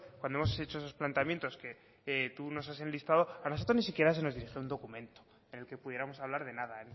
cuando hemos hecho esos planteamientos que tú nos has enlistado a nosotros ni siquiera se nos dirigió un documento en el que pudiéramos hablar de nada